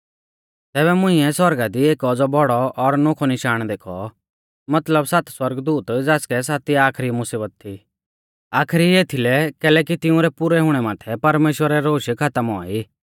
तैबै मुंइऐ सौरगा दी एक औज़ौ बौड़ौ और नोखौ निशाण देखौ मतलब सात सौरगदूत ज़ासकै सातिआ आखरी मुसीबत थी आखरी एथीलै कैलैकि तिंउरै पुरै हुणै माथै परमेश्‍वरा रै रोश खातम औआ ई